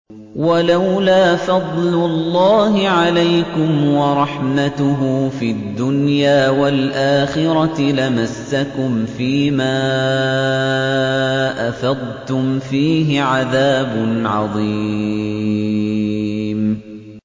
وَلَوْلَا فَضْلُ اللَّهِ عَلَيْكُمْ وَرَحْمَتُهُ فِي الدُّنْيَا وَالْآخِرَةِ لَمَسَّكُمْ فِي مَا أَفَضْتُمْ فِيهِ عَذَابٌ عَظِيمٌ